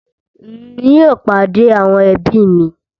Ń yìí ó pàdé àwọn ẹbí mi